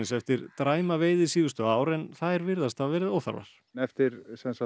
eftir dræma veiði síðustu ár en þær virðast hafa verið óþarfar eftir